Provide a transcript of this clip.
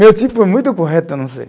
Meu tipo é muito correto, eu não sei.